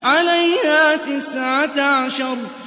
عَلَيْهَا تِسْعَةَ عَشَرَ